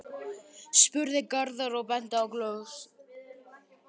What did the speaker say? spurði Garðar og benti á glösin.